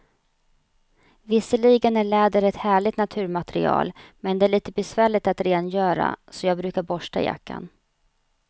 Visserligen är läder ett härligt naturmaterial, men det är lite besvärligt att rengöra, så jag brukar borsta jackan.